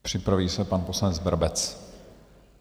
Připraví se pan poslanec Brabec.